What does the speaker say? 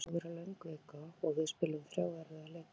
Þetta er búið að vera löng vika og við spiluðum þrjá erfiða leiki.